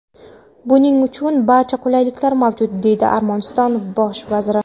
Buning uchun barcha qulayliklar mavjud”, deydi Armaniston bosh vaziri.